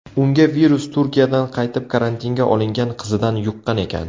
Unga virus Turkiyadan qaytib karantinga olingan qizidan yuqqan ekan.